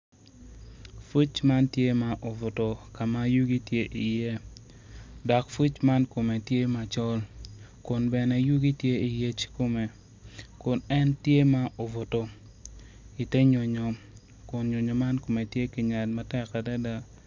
Puc man tye ma obuto ka ma yugi tye iye dok puc man kome tye macol kun bene yugi tye iyec kome kun en tye ma obuto ite nyonyo kun nyonyo man kome tye kinyal matek adada.